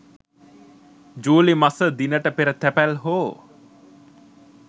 ජූලි මස දිනට පෙර තැපැල් හෝ